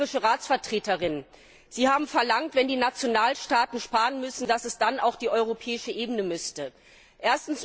An die irische Ratsvertreterin Sie haben verlangt, wenn die Nationalstaaten sparen müssen, dass dann auch die europäische Ebene sparen müsste.